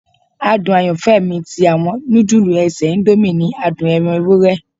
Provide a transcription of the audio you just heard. Adun ayanfẹ mi ti awọn nudulu ese indomie ni adun ẹran ewurẹ.